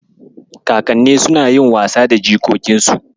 Kakanni suna yin wasa da jikokinsu.